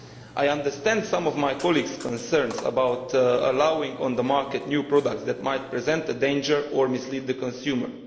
I understand some of my colleagues' concerns about allowing on the market new products that might present a danger or mislead the consumer.